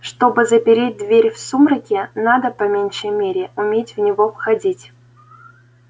чтобы запереть дверь в сумраке надо по меньшей мере уметь в него входить